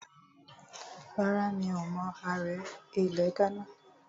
Rárá, mi ò mọ ààrẹ ilẹ̀ Ghánà